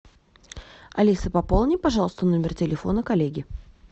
алиса пополни пожалуйста номер телефона коллеги